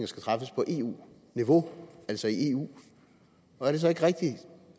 skal træffes på eu niveau altså i eu er det så ikke rigtigt